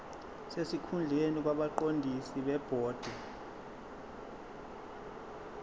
sesikhundleni kwabaqondisi bebhodi